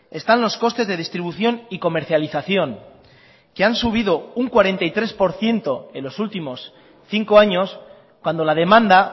están los costes de distribución y comercialización que han subido un cuarenta y tres por ciento en los últimos cinco años cuando la demanda